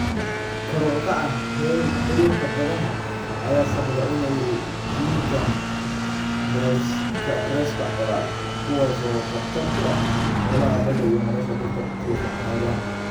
Kor u kaca heerkulka badaha ayaa sababa in ay dhintaan reefs-ka coral, kuwaas oo khatar ku ah noolaha badda iyo nolosha dadka ku tiirsan xeebaha.